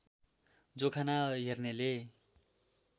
जोखाना हेर्नेले